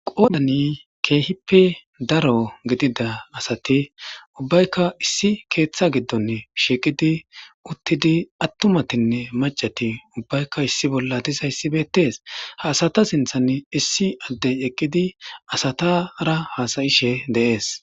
Qoodani keehippe daro gidida asati ubbaykka issi keeththa giddonn shiiqidi uttidi attumatinne macati ubbaykka issi bolla dizayssibeettees ha asata sinthan issi addey eqqidi asatara hasayishe deees